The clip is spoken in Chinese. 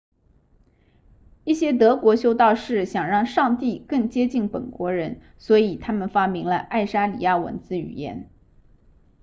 一些德国修道士想让上帝更接近本国人所以他们发明了爱沙尼亚文字语言